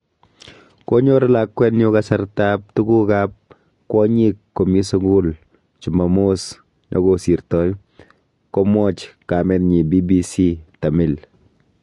"Konyor lakwenyu kasartab tuguk ab kwonyik komi sugul chumamos nekosirtoi." Komwach kamenyi BBC tamil